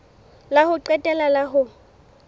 la ho qetela la ho